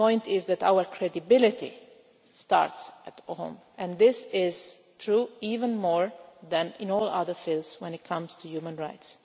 The point is that our credibility starts at home, and this is true even more than in all other fields when it comes to human rights.